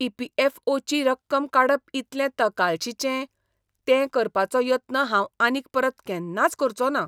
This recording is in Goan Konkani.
ई. पी. ऍफ. ओ. ची रक्कम काडप इतलें तकालशीचें, तें करपाचो यत्न हांव आनीक परत केन्नाच करचों ना.